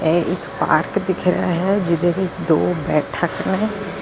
ਇਹ ਇੱਕ ਪਾਰਕ ਦਿਖ ਰਿਹਾ ਹੈ ਜਿਹਦੇ ਵਿੱਚ ਦੋ ਬੈਠਕ ਨੇ ।